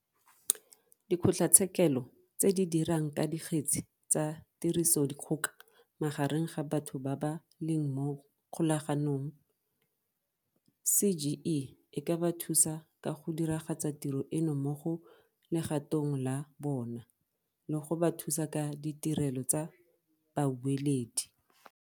Dikgotlatshekelo tse di dirang ka dikgetsi tsa tirisodikgoka magareng ga batho ba ba leng mo kgolaganong, CGE e ka ba thusa ka go diragatsa tiro eno mo legatong la bona, le go ba thusa ka ditirelo tsa babueledi.